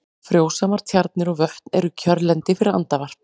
Frjósamar tjarnir og vötn eru kjörlendi fyrir andavarp.